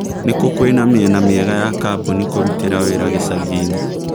nĩ kũ kwĩna mĩena miega ya kambũni kũrutira wĩra gĩcangiinĩ